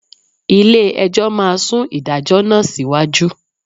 Ilé-ẹjọ́ máa sún ìdájọ́ náà síwájú